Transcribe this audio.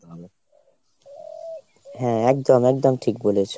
হ্যাঁ একদম একদম ঠিক বলেছো।